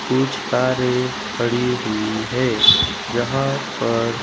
कुछ कारें खड़ी हुई है जहां पर--